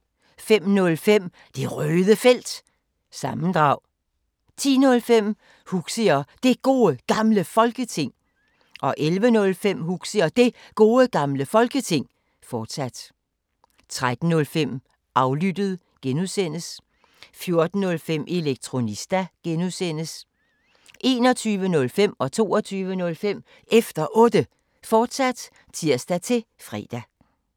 05:05: Det Røde Felt – sammendrag 10:05: Huxi og Det Gode Gamle Folketing 11:05: Huxi og Det Gode Gamle Folketing, fortsat 13:05: Aflyttet (G) 14:05: Elektronista (G) 21:05: Efter Otte, fortsat (tir-fre) 22:05: Efter Otte, fortsat (tir-fre)